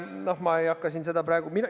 No ma ei hakka seda praegu ...